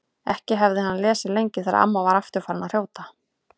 Ekki hafði hann lesið lengi þegar amma var aftur farin að hrjóta.